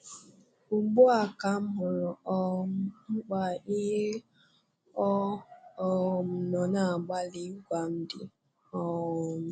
Ugbu a ka m hụrụ um mkpa ihe ọ um nọ na-agbalị ịgwa m dị. um